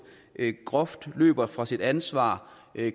groft løber fra sit ansvar